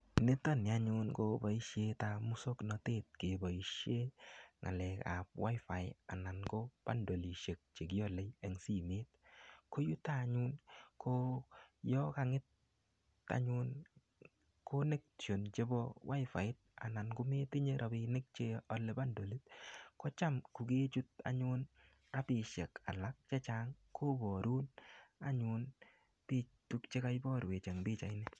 Nitoni anyun, ko boisietap muswaganatet keboisie ng'alekap WiFi anan ko bandolisiek che kiale eng simet. Ko yutok anyun, ko yakang'et anyun connection chebo Waifait anan, kometinye rabinik che ale bandolit, kocham kokechut anyun apisiek alak chechang. Kobarun anyun bik tuk chekaiborwech eng pichait ni.